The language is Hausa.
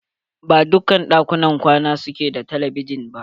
Ba dukkan ɗakunan kwana su ke da telebijin ba.